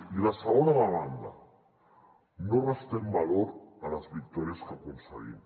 i la segona demanda no restem valor a les victòries que aconseguim